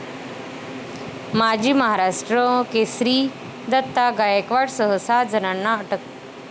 माजी महाराष्ट्र केसरी दत्ता गायकवाडसह सहा जणांना अटक